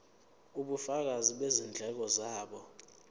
ubufakazi bezindleko zabo